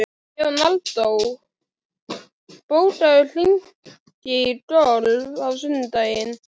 Leonardó, bókaðu hring í golf á sunnudaginn.